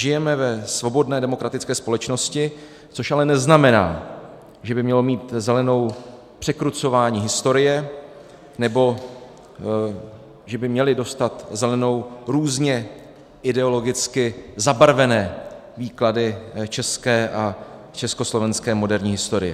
Žijeme ve svobodné demokratické společnosti, což ale neznamená, že by mělo mít zelenou překrucování historie nebo že by měly dostat zelenou různě ideologicky zabarvené výklady české a československé moderní historie.